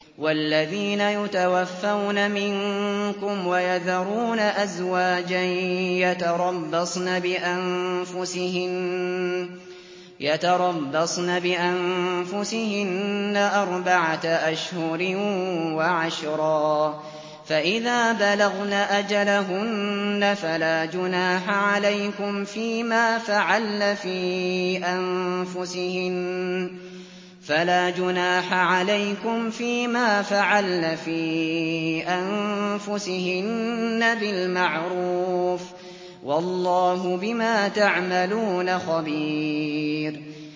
وَالَّذِينَ يُتَوَفَّوْنَ مِنكُمْ وَيَذَرُونَ أَزْوَاجًا يَتَرَبَّصْنَ بِأَنفُسِهِنَّ أَرْبَعَةَ أَشْهُرٍ وَعَشْرًا ۖ فَإِذَا بَلَغْنَ أَجَلَهُنَّ فَلَا جُنَاحَ عَلَيْكُمْ فِيمَا فَعَلْنَ فِي أَنفُسِهِنَّ بِالْمَعْرُوفِ ۗ وَاللَّهُ بِمَا تَعْمَلُونَ خَبِيرٌ